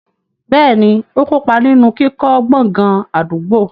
Bẹ́ẹ̀ni, ó kó pa ninu kíkọ́ gbọ̀ngàn àdúgbò.